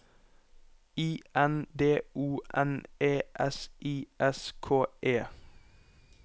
I N D O N E S I S K E